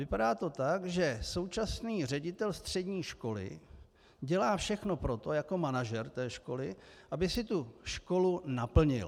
Vypadá to tak, že současný ředitel střední školy dělá všechno pro to jako manažer té školy, aby si tu školu naplnil.